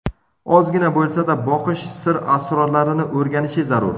Ozgina bo‘lsa-da, boqish sir-asrorlarini o‘rganishi zarur.